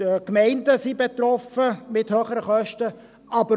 Auch die Gemeinden wären von höheren Kosten betroffen.